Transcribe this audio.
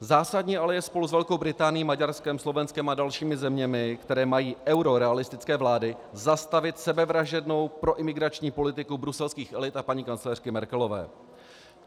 Zásadní ale je spolu s Velkou Británií, Maďarskem, Slovenskem a dalšími zeměmi, které mají eurorealistické vlády, zastavit sebevražednou proimigrační politiku bruselských elit a paní kancléřky Merkelové.